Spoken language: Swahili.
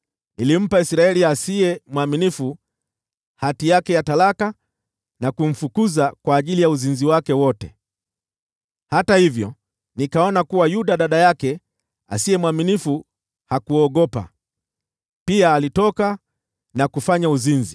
Nilimpa Israeli asiye mwaminifu hati yake ya talaka, na kumfukuza kwa ajili ya uzinzi wake wote. Hata hivyo nikaona kuwa Yuda dada yake mdanganyifu hakuogopa. Yeye pia alitoka na kufanya uzinzi.